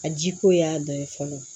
A jiko y'a dɔ ye fɔlɔ